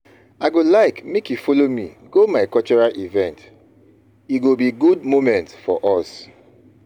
I go like make you follow me go my cultural event, e go be good moment for us.